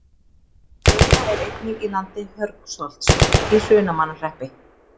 Baula er einnig í landi Hörgsholts í Hrunamannahreppi.